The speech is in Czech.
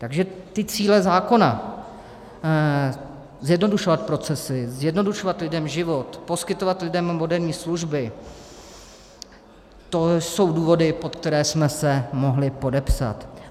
Takže ty cíle zákona, zjednodušovat procesy, zjednodušovat lidem život, poskytovat lidem moderní služby, to jsou důvody, pod které jsme se mohli podepsat.